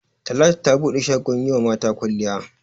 Talatu ta bude shagon yi wa mata kwalliya.